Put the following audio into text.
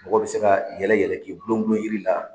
Mɔgɔ be se ka yɛlɛ yɛlɛ k'i gulon gulon yiri la